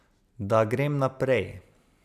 Da grem naprej.